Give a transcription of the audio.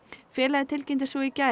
félagið tilkynnti svo í gær